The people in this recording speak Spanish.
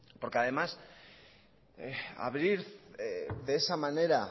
porque además abrir de esa manera